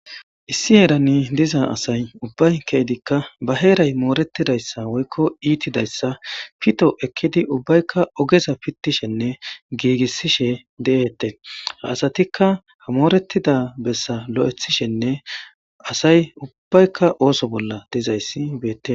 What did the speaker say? Isi heeran diza asay ubbay ke'idika ba heeray itidaysa woyko moretidaysa pito ekidi ubbayka pito,aysanne gigisishe de'etes ha asatika moretida besa loythishenne asay ubbayka issi bolla dizaysi beetes.